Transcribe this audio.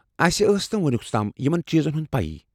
اسہ ٲس نہٕ وُنیُوس تام یمن چیٖزن ہُند پیی ۔